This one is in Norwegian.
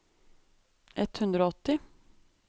ett hundre og åtti